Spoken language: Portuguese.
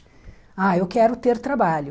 Ah, eu quero ter trabalho.